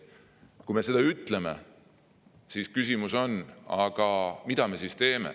Kui me seda ütleme, siis on küsimus, mida me sellisel juhul teeme.